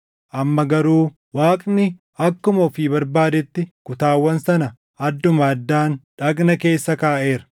Amma garuu Waaqni akkuma ofii barbaadetti kutaawwan sana adduma addaan dhagna keessa kaaʼeera.